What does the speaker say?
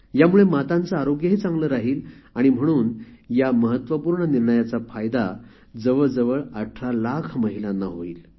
यामुळे मातांचे आरोग्यही चांगले राहील आणि म्हणून या महत्वपूर्ण निर्णयाचा फायदा जवळजवळ १८ लाख महिलांना होईल